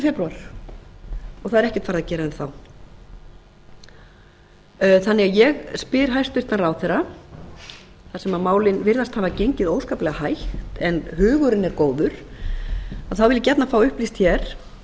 það er ekkert farið að gera enn þá þannig að ég spyr hæstvirtur ráðherra þar sem málið virðist hafa gengið óskaplega hægt en hugurinn er góður þá vil ég gjarnan fá upplýst hér fyrstu